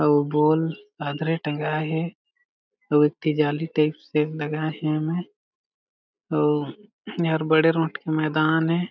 और बॉल आंदरे टेंगाए हे एक ठी जाली टाइप से लगाए हे एमे अउ एहर बड़े रोठ के मैदान हे।